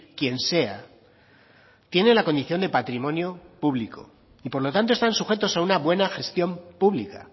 quien sea tiene la condición de patrimonio público y por lo tanto están sujetos a una buena gestión pública